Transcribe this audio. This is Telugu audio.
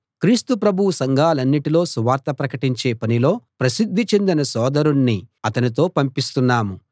క్రీస్తు ప్రభువు సంఘాలన్నిటిలో సువార్త ప్రకటించే పనిలో ప్రసిద్ధి చెందిన సోదరుణ్ణి అతనితో పంపిస్తున్నాం